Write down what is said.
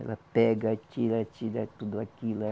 Ela pega, tira, tira tudo aquilo.